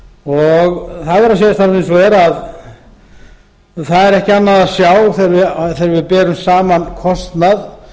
það verður að segjast alveg eins og er að það er ekki annað að sjá þegar við berum saman kostnað